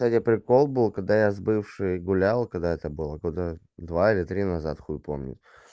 кстати прикол был когда я с бывшей гулял когда это было когда два или три назад хуй помню